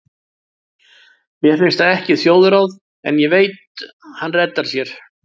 Mér finnst það ekki þjóðráð, en ég veit hann reddar sér.